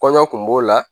Kɔɲɔ kun b'o la